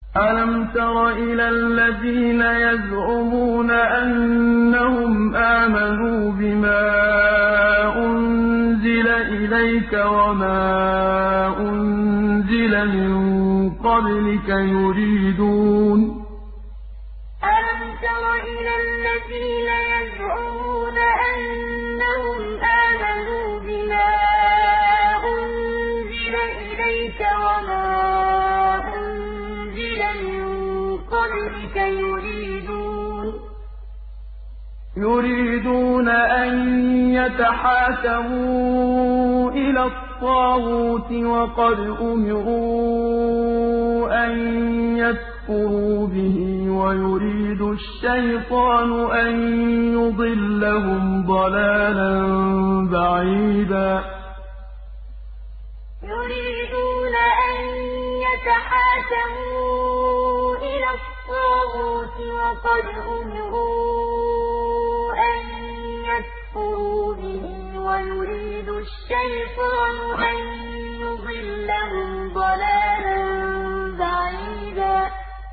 أَلَمْ تَرَ إِلَى الَّذِينَ يَزْعُمُونَ أَنَّهُمْ آمَنُوا بِمَا أُنزِلَ إِلَيْكَ وَمَا أُنزِلَ مِن قَبْلِكَ يُرِيدُونَ أَن يَتَحَاكَمُوا إِلَى الطَّاغُوتِ وَقَدْ أُمِرُوا أَن يَكْفُرُوا بِهِ وَيُرِيدُ الشَّيْطَانُ أَن يُضِلَّهُمْ ضَلَالًا بَعِيدًا أَلَمْ تَرَ إِلَى الَّذِينَ يَزْعُمُونَ أَنَّهُمْ آمَنُوا بِمَا أُنزِلَ إِلَيْكَ وَمَا أُنزِلَ مِن قَبْلِكَ يُرِيدُونَ أَن يَتَحَاكَمُوا إِلَى الطَّاغُوتِ وَقَدْ أُمِرُوا أَن يَكْفُرُوا بِهِ وَيُرِيدُ الشَّيْطَانُ أَن يُضِلَّهُمْ ضَلَالًا بَعِيدًا